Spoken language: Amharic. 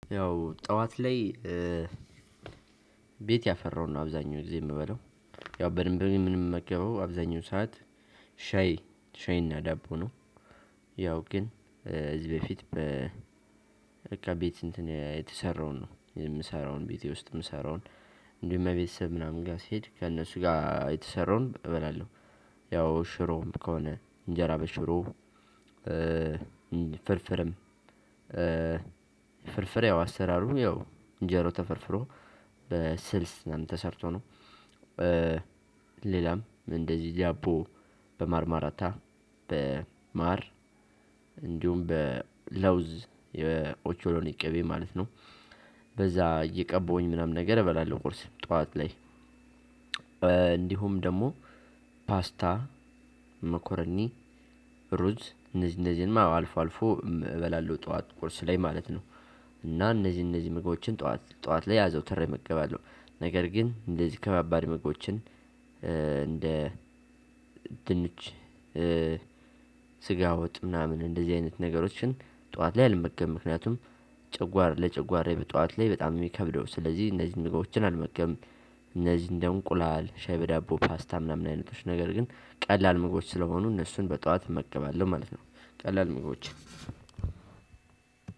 ያው ጠዋት ላይ ቤት ያፈራውን ነው አብዛኛው ጊዜ የምበላው። ያው በድንብ ነው የምንመገበው አብዛኛው ሰዓት ሻይ ሻይና ዳቦ ነው ያው ግን እዚህ በፊት በቃ ቤት እንትን የተሰራውን ነው የምሰራው ቤቴ ውስጥ የምሰራውን እንዲሁም እቤተሰብ ምናምን ጋር ሲሄድ ከእነሱ ጋር የተሰራውን እበላለሁ። ያው ሽሮም ከሆነ እንጀራ በሽሮ ፍርፍርም ፍርፍር ያው አሰራሩ ያው እንጀራው ተፈርፍሮ በስልስ ምናምን ተሰርቶ ነው። ሌላም እንደዚህ ዳቦ በማርማራታ በማር እንዲሁም በለውዝ የኦቾሎኒ ቅቤ ማለት ነው። በዛህ እየቀባሁኝ ምናምን ነገር እበላለሁኝ ቁርስ ጠዋት ላይ። እንዲሁም ደግሞ ፓስታ፣ መኮረኒ፣ ሩዝ እነዚህ እነዚህንም አዎ አልፎ አልፎ እበላለሁ ጠዋት ቁርስ ላይ ማለት ነው። እና እነዚህ እነዚህ ምግቦችን ጠዋት ጠዋት ላይ አዘወትሬ እመገባለሁ። ነገር ግን እንደዚህ ከባባድ ምግቦችን እንደ ድንች ስጋ ወጥ ምናምን እንደዚህ አይነት ነገሮችን ጠዋት ላይ አልመገብም። ምክንያቱም ጨጓራ ለጨጓራዬ በጠዋት ላይ በጣም ነው የሚከብደው። ስለዚህ እነዚህን ምግቦችን አልመገብም። እነዚህ እንደ እንቁላል፣ ሻይ በዳቦ፣ ፓስታ ምናምን አይነቶች ነገር ግን ቀላል ምግቦች ስለሆኑ እነሱን በጠዋት እመገባለሁ ማለት ነው። ቀላል ምግቦችን